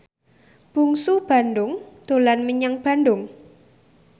Bungsu Bandung dolan menyang Bandung